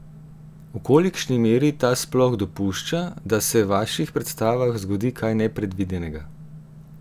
V kolikšni meri ta sploh dopušča, da se v vaših predstavah zgodi kaj nepredvidenega?